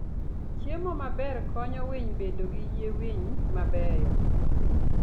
Chiemo maber konyo winy bedo gi yie winy mabeyo.